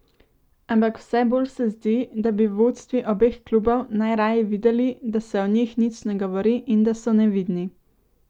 Ampak vse bolj se zdi, da bi vodstvi obeh klubov najraje videli, da se o njih nič ne govori in da so nevidni.